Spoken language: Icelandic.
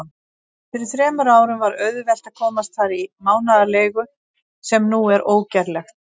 Fyrir þremur árum var auðvelt að komast þar í mánaðarleigu, sem nú er ógerlegt.